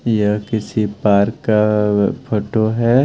यह किसी पार्क का फोटो है।